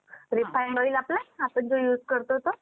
refined oil आपलं आपण जो use करतो तो